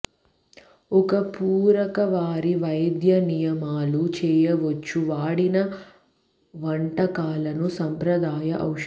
ఒక పూరక వారి వైద్య నియమాలు చేయవచ్చు వాడిన వంటకాలను సంప్రదాయ ఔషధం